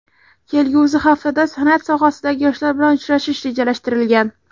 Kelgusi haftada san’at sohasidagi yoshlar bilan uchrashish rejalashtirilgan.